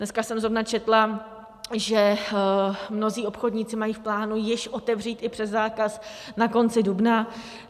Dneska jsem zrovna četla, že mnozí obchodníci mají v plánu již otevřít i přes zákaz na konci dubna.